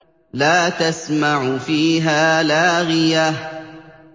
لَّا تَسْمَعُ فِيهَا لَاغِيَةً